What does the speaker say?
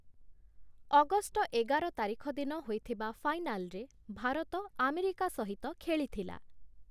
August ଏଗାର ତାରିଖ ଦିନ ହୋଇଥିବା ଫାଇନାଲରେ ଭାରତ, ଆମେରିକା ସହିତ ଖେଳିଥିଲା ।